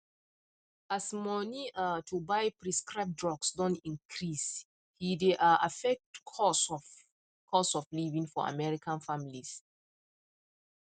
as money um to buy proscribed drugs don increase he dey um affect cost of cost of living for american families